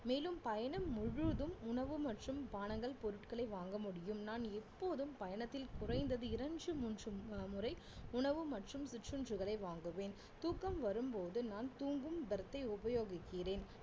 மேலும் பயணம் முழுதும் உணவு மற்றும் பானங்கள் பொருட்களை வாங்க முடியும் நான் எப்போதும் பயணத்தில் குறைந்தது இரண்டு மூன்று மு~ அஹ் முறை உணவு மற்றும் சிற்றுண்டிகளை வாங்குவேன் தூக்கம் வரும்போது நான் தூங்கும் berth ஐ உபயோகிக்கிறேன்